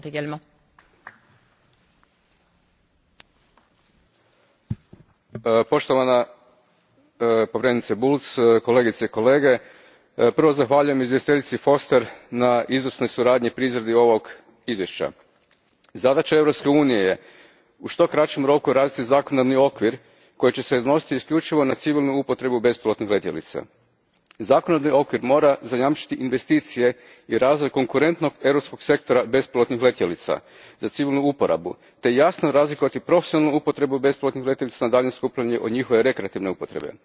Gospođo predsjednice, poštovana povjerenice Bulc, kolegice i kolege, prvo zahvaljujem izvjestiteljici Foster na izvrsnoj suradnji pri izradi ovog izvješća. Zadaća Europske unije je u što kraćem roku razviti zakonodavni okvir koji će se odnositi isključivo na civilnu upotrebu bespilotnih letjelica. Zakonodavni okvir mora zajamčiti investicije i razvoj konkurentnog europskog sektora bespilotnih letjelica za civilu uporabu te jasno razlikovati profesionalnu upotrebu bespilotnih letjelica na daljinsko upravljanje od njihove rekreativne upotrebe.